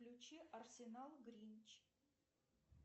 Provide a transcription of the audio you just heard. включи арсенал гринч